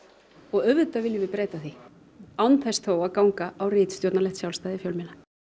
auðvitað viljum við breyta því án þess þó að ganga á ritstjórnarlegt sjálfstæði fjölmiðla